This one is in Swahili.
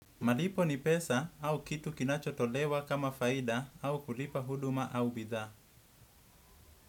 Malipo ni pesa au kitu kinachotolewa kama faida au kulipa huduma au bidhaa.